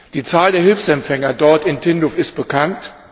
Die Zahl der Hilfsempfänger dort in Tindouf ist bekannt.